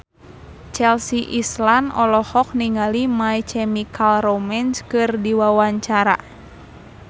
Chelsea Islan olohok ningali My Chemical Romance keur diwawancara